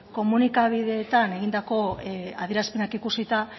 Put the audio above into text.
komunikabideetan egindako adierazpenak ikusita